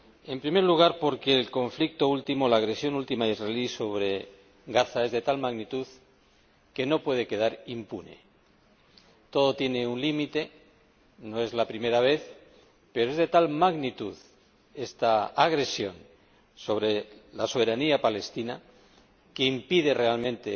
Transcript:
En primer lugar, porque el conflicto último, la última agresión israelí sobre Gaza es de tal magnitud, que no puede quedar impune. Todo tiene un límite, no es la primera vez, pero es de tal magnitud esta agresión sobre la soberanía palestina, que impide realmente